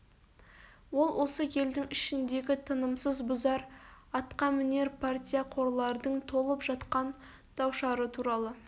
ол осы елдің ішіндегі тынымсыз бұзар атқамінер партияқорлардың толып жатқан даушары туралы